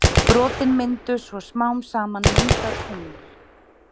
Brotin myndu svo smám saman mynda tungl.